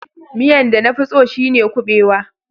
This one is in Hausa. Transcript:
Miyan da na fi tso shine kubewa.